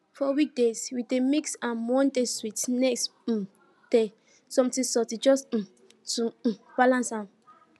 for weekdays we dey mix am one day sweet next um day something salty just um to um balance am